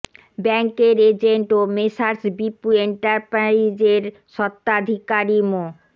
ব্যাংকের এজেন্ট ও Messrs Bipu Enterprise এর স্বত্ত্বাধিকারী মো